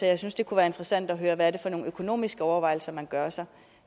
jeg synes det kunne være interessant at høre hvad det er for nogle økonomiske overvejelser man gør sig